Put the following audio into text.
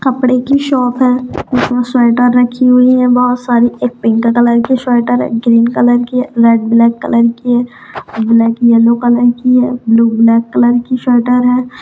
कपड़े की शॉप है उसमें स्वेटर रखी हुई हैं बहोत सारी एक पिंक कलर की स्वेटर है ग्रीन कलर की है रेड-ब्लैक कलर की है ब्लैक-येलो कलर की है ब्लू ब्लैक कलर की स्वेटर है।